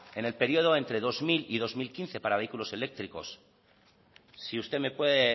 en el periodo entre dos mil y dos mil quince para vehículos eléctricos si usted me puede